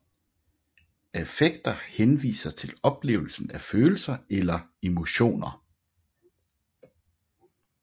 Affekter henviser til oplevelsen af følelser eller emotioner